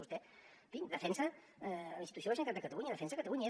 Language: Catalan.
vostè defensa la institució de la generalitat de catalunya defensa catalunya